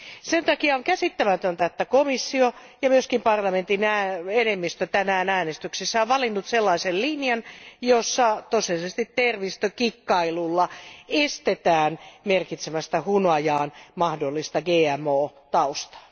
Sen takia on käsittämätöntä, että komissio ja myös parlamentin enemmistö tänään äänestyksessä on valinnut sellaisen linjan, jossa tosiasiallisesti termistökikkailulla estetään merkitsemästä hunajaan mahdollista GMO taustaa.